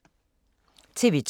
TV 2